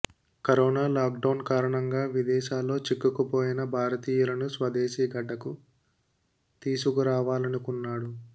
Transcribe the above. corona lockdown కారణంగా విదేశాల్లో చిక్కుకుపోయిన భారతీయులను స్వదేశీ గడ్డకు తీసుకు రావాలనుకున్నాడు